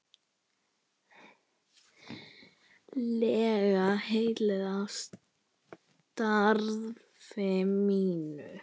lega heilluð af starfi mínu.